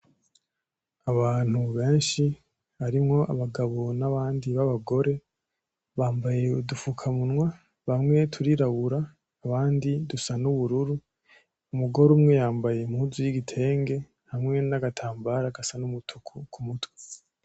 Abantu benshi barimwo abagabo nabandi b'abagore bambaye udufukamunwa bamwe turirabura abandi dusa n'ubururu, umugore umwe yambaye impuzu y'igitenge hamwe n'agatambara gasa n'umutuku kumutwe .